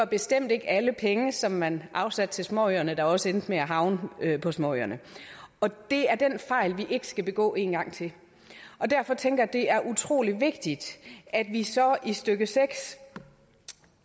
bestemt ikke alle pengene som man afsatte til småøerne der også endte med at havne på småøerne det er den fejl vi ikke skal begå en gang til og derfor tænker jeg at det er utrolig vigtigt at vi så i stykke seks